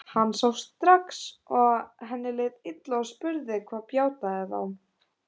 Hann sá strax að henni leið illa og spurði hvað bjátaði á.